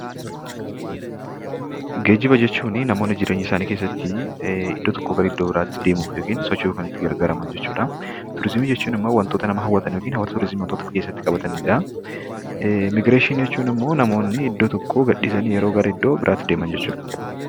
Geejjiba; jechuuni, namooni jireenya isaani keessatti iddoo tokkoo garaa iddoo biraatti deemuuf ykn sochoo'uuf Kan itti gargaraaman jechuudha. tuurizimi jechuun immoo wantoota nama hawaatan ykn immoo hawaasa tuurizimi wantoota of keessatti qabatanidha. Imibireeshini jechuun, immoo namooni iddoo tokkoo gadhisani yeroo garaa iddoo biraatti deeman jechuudha.